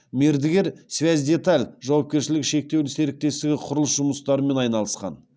мердігер связьдеталь жауапкершілігі шектеулі серіктестігі құрылыс жұмыстарымен айналысқан